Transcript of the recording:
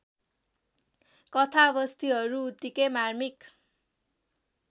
कथावस्तुहरू उत्तिकै मार्मिक